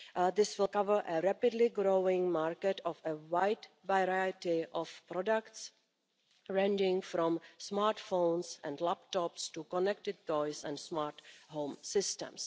This will cover a rapidly growing market of a wide variety of products, ranging from smartphones and laptops to connected toys and smart home systems.